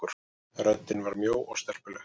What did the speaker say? Röddin var mjó og stelpuleg.